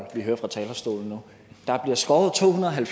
når